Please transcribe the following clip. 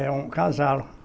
É um casal.